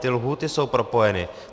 Ty lhůty jsou propojeny.